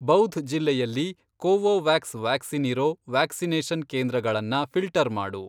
ಬೌಧ್ ಜಿಲ್ಲೆಯಲ್ಲಿ Covovax vaccine ಇರೋ vaccination ಕೇಂದ್ರಗಳನ್ನ ಫಿ಼ಲ್ಟರ್ ಮಾಡು.